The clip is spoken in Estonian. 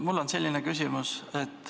Mul on selline küsimus.